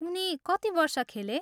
उनी कति वर्ष खेले?